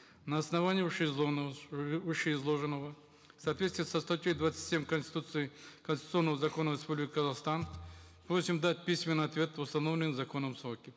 на основании вышеизложенного в соответствии со статьей двадцать семь конституции конституционного закона республики казахстан просим дать письменный ответ в установленные законом сроки